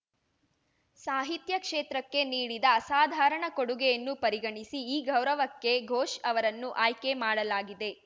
ಸಾಹಿತ್ಯ ಕ್ಷೇತ್ರಕ್ಕೆ ನೀಡಿದ ಅಸಾಧಾರಣ ಕೊಡುಗೆಯನ್ನು ಪರಿಗಣಿಸಿ ಈ ಗೌರವಕ್ಕೆ ಘೋಷ್‌ ಅವರನ್ನು ಆಯ್ಕೆ ಮಾಡಲಾಗಿದೆ